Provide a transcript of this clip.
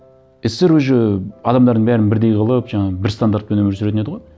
ссср уже адамдардың бәрін бірдей қылып жаңағы бір стандартпен өмір сүретін еді ғой